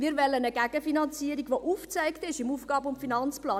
Wir wollen eine Gegenfinanzierung, die im AFP aufgezeigt ist.